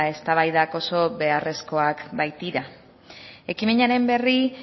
eztabaidak oso beharrezkoak baitira ekimenaren berri